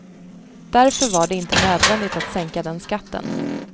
Därför var det inte nödvändigt att sänka den skatten.